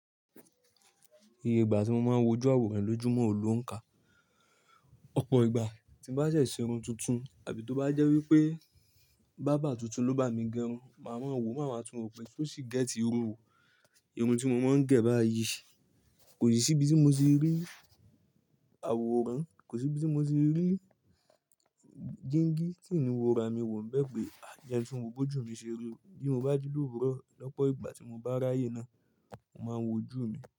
Iye ìgbà tí mo máa ń wojú àwòrán lójúmọ̀ ò ló ń kà. Ọ̀pọ̀ ìgbà tí bá ṣe ṣe irun tuntun àbí tó bá jẹ́ wípé bábà tuntun ló bá mi gẹrun, màá mọ wò máa ma tún rò pé tó sì gẹ́tì irun wò. Irun tí mo máa ń gẹ̀ báyìí kò sì bí tí mo ṣe rí àwòrán, kò sì bí tí mo ṣe rí dígí tín ni wò ra mi wò. Bẹ́ẹ̀ pé à jẹ́ ẹ́ tún wo gbójú mi ṣe rú bí mo bá jí lóòrùn lọ́pọ̀ ìgbà tí mo bá ráyè náà, mo máa ń wojú mi.